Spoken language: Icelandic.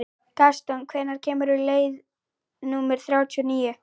Gaston, hvenær kemur leið númer þrjátíu og níu?